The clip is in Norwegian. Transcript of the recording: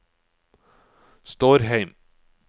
Stårheim